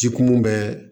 Jikun bɛɛ